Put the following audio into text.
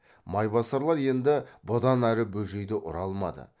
майбасарлар енді бұдан ары бөжейді ұра алмады